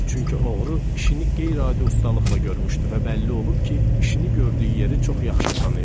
Çünki oğru işini qeyri-adi ustalıqla görmüşdü və bəlli olub ki, işini gördüyü yeri çox yaxşı tanıyırmış.